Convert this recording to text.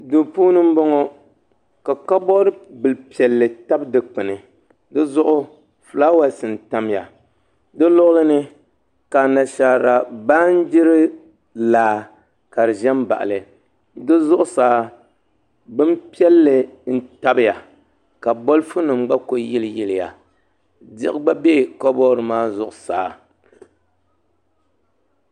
Duu puuni n bɔŋɔ ka kabood bili piɛlli tabi dikpuni dizuɣu fulaawaasi n tamya di luɣuli ni ka anashaara baanjiri laa ka di ʒɛ n baɣali di zuɣusaa bin piɛlli n tabiya ka bolfu nim gba ku yili yiliya diɣi gba bɛ kabood maa zuɣusaa